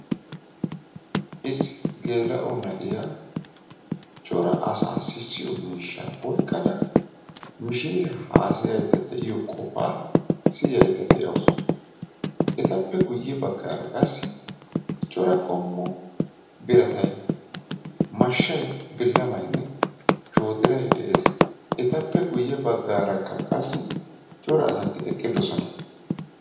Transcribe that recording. Issi geela'o na'iya Cora asaa sissiyo miishshaa oyqqada mishshiriya haasayayida deiyo qofaa siyayida de'awusu. Etappe guye baggaara qassi Cora qommo biratay mashshay, bilammaynne shoodiray de'ees. Etappe guye baggaara qassi Cora asati eqqidosona.